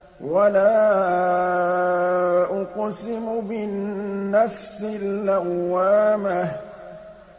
وَلَا أُقْسِمُ بِالنَّفْسِ اللَّوَّامَةِ